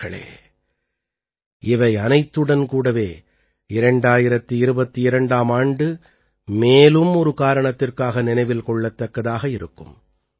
நண்பர்களே இவை அனைத்துடன் கூடவே 2022ஆம் ஆண்டு மேலும் ஒரு காரணத்திற்காக நினைவில் கொள்ளத்தக்கதாக இருக்கும்